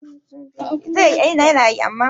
ba a magana a bandaki